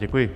Děkuji.